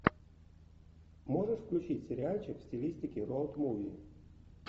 можешь включить сериальчик в стилистике роуд муви